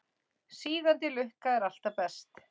Sígandi lukka er alltaf best.